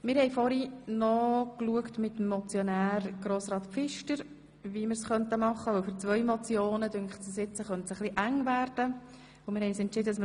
Wir haben das mit Grossrat Pfister angeschaut und entschieden, mit Traktandum 60 zu starten und Traktandum 59 allenfalls auch in die Septembersession zu verschieben.